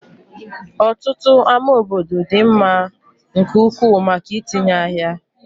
Ọtụtụ ámá obodo dị mma nke ukwuu maka itinye ahịa.